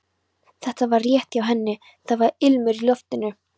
Þetta var rétt hjá henni, það var ilmur í loftinu.